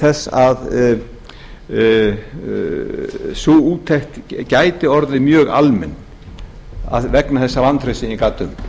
þess að sú úttekt gæti orðið mjög almenn vegna þessa vantrausts sem ég gat um